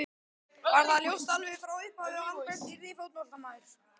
Var það ljóst alveg frá upphafi að Albert yrði fótboltamaður?